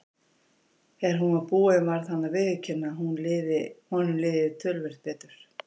Þegar hún var búin varð hann að viðurkenna að honum liði töluvert betur.